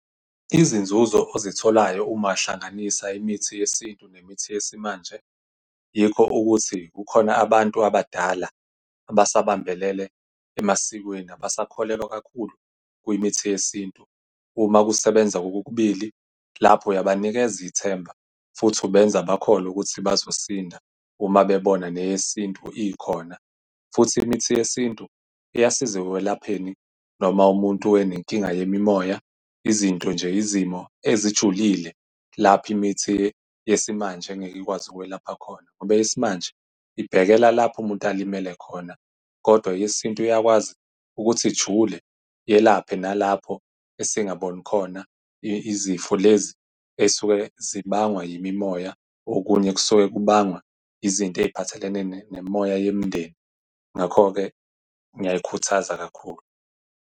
Izinzuzo ozitholayo uma uhlanganisa imithi yesintu nemithi yesimanje, yikho ukuthi kukhona abantu abadala abasabambelele emasikweni abasakholelwa kakhulu kwimithi yesintu. Uma kusebenza kokukubili, lapho uyabanikeza ithemba futhi ubenza bakholwe ukuthi bazosinda uma bebona neyesintu ikhona. Futhi imithi yesintu iyasiza ekwelapheni noma umuntu wayenenkinga yemimoya. Izinto nje, izimo ezijulile lapho imithi yesimanje ngeke ikwazi ukwelapha khona, ngoba eyesimanje ibhekela lapho umuntu alimele khona kodwa eyesintu iyakwazi ukuthi ijule iyelaphe nalapho esingaboni khona izifo lezi ey'suke zibangwa yimimoya. Okunye kusuke kubangwa izinto ey'phathelene nemimoya yemndeni, ngakho-ke ngiyayikhuthaza kakhulu.